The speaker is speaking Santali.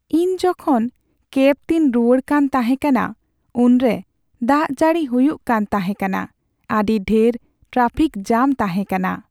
ᱤᱧ ᱡᱚᱠᱷᱚᱱ ᱠᱮᱵ ᱛᱮᱧ ᱨᱩᱣᱟᱹᱲ ᱠᱟᱱ ᱛᱟᱦᱮᱸ ᱠᱟᱱᱟ, ᱩᱱᱨᱮ ᱫᱟᱜ ᱡᱟᱹᱲᱤ ᱦᱩᱭᱩᱜ ᱠᱟᱱ ᱛᱟᱦᱮᱸ ᱠᱟᱱᱟ, ᱟᱹᱰᱤ ᱰᱷᱮᱨ ᱴᱨᱟᱯᱷᱤᱠ ᱡᱟᱢ ᱛᱟᱦᱮᱸ ᱠᱟᱱᱟ ᱾